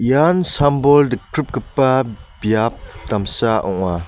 ian sam-bol dikpripgipa biap damsa ong·a.